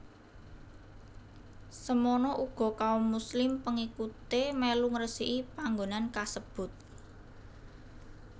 Semono uga kaum Muslim pengikuté mèlu ngresiki panggonan kasebut